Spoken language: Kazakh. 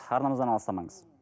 арнамыздан алыстамаңыз